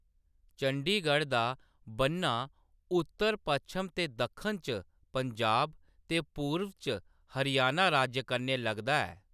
चंडीगढ़ दा बन्ना उत्तर, पच्छम ते दक्खन च पंजाब ते पूरब च हरियाणा राज्य कन्नै लगदा ऐ।